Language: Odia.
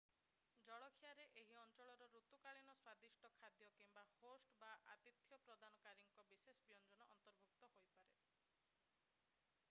ଜଳଖିଆରେ ଏହି ଅଞ୍ଚଳର ଋତୁକାଳୀନ ସ୍ୱାଦିଷ୍ଟ ଖାଦ୍ୟ କିମ୍ବା ହୋଷ୍ଟ ବା ଆତିଥ୍ୟ ପ୍ରଦାନକାରୀଙ୍କର ବିଶେଷ ବ୍ୟଞ୍ଜନ ଅନ୍ତର୍ଭୁକ୍ତ ହୋଇପାରେ